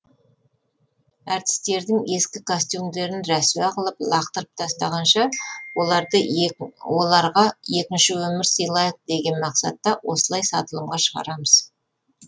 әртістердің ескі костюмдерін рәсуа қылып лақтырып тастағанша оларды оларға екінші өмір сыйлайық деген мақсатта осылай сатылымға шығарамыз